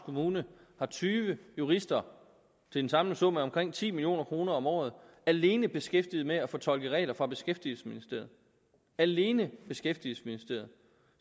kommune har tyve jurister til en samlet sum af omkring ti million kroner om året alene beskæftiget med at fortolke regler fra beskæftigelsesministeriet alene beskæftigelsesministeriet